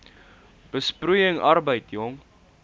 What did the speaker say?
besproeiing arbeid jong